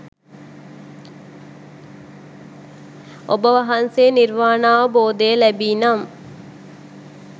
ඔබ වහන්සේ නිර්වාණාවබෝධය ලැබී නම්